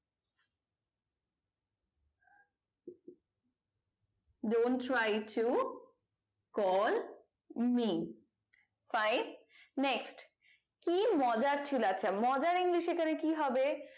Dont try to call me famine next কি মজার আছে মজার english এখানে কি হবে